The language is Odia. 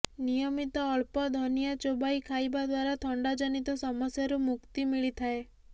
ନିୟମିତ ଅଳ୍ପ ଧନିଆ ଚୋବାଇ ଖାଇବା ଦ୍ୱାରା ଥଣ୍ଡା ଜନିତ ସମସ୍ୟାରୁ ମୁକ୍ତି ମିଳିଥାଏ